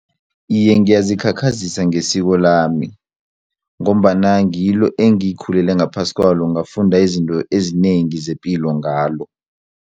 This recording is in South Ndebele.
Iye, ngiyazikhakhazisa ngesikolami ngombana ngilo engikhulele ngaphasi kwalo ngafunda izinto ezinengi zepilo ngalo.